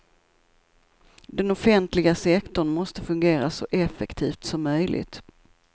Den offentliga sektorn måste fungera så effektivt som möjligt.